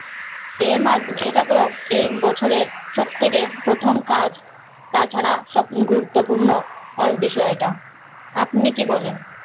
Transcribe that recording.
এটা তো এই বছরের সব থেকে প্রথম কাজ তাছাড়া সব গুরুত্বপূর্ণ অনেক বিষয়টা, আপনি কি বলেন?